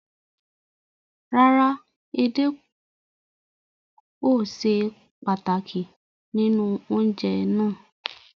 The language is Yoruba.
Rárá, èdè ò sè pàtákì nínu ọ̀unjẹ̀ ná